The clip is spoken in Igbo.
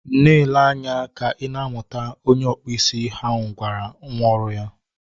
Na-ele anya ka ị na amụta! Onye ọkpụ isi ahụ gwara nwa ọrụ ya